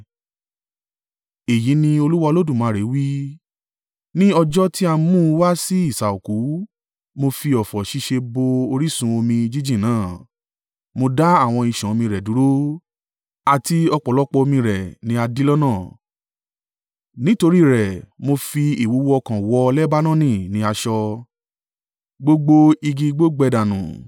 “ ‘Èyí ni Olúwa Olódùmarè wí: Ní ọjọ́ ti a mú u wá sí isà òkú mo fi ọ̀fọ̀ ṣíṣe bo orísun omi jíjìn náà, mo dá àwọn ìṣàn omi rẹ̀ dúró, àti ọ̀pọ̀lọpọ̀ omi rẹ̀ ní a dí lọ́nà. Nítorí rẹ̀ mo fi ìwúwo ọkàn wọ Lebanoni ní aṣọ, gbogbo igi igbó gbẹ dànù.